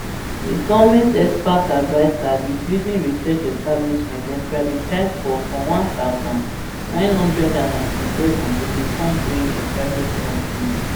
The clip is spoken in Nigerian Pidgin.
di goment expert adviser di building research establishment dem privatise for for one thousand, nine hundred and ninety-seven to become bre a private company